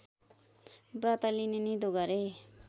व्रत लिने निधो गरे